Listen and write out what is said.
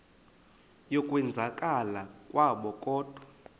yokwenzakala kwabo kodwa